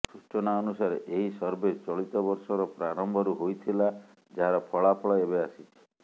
ସୂଚନା ଅନୁସାରେ ଏହି ସର୍ଭେ ଚଳିତ ବର୍ଷର ପ୍ରାରମ୍ଭରୁ ହୋଇଥିଲା ଯାହାର ଫଳାଫଳ ଏବେ ଆସିଛି